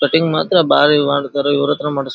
Cutting ಮಾತ್ರ ಬಾರಿ ಮಾಡ್ತಾರಾ ಇವ್ರ್ ಹತ್ರ ಮಾಡಿಸ್ಬೇಕು.